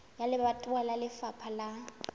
wa lebatowa wa lefapha la